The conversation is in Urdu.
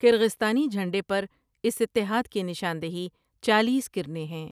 کرغیزستانی جھنڈے پر اس اتحاد کی نشاندہی چالیس کرنیں ہیں ۔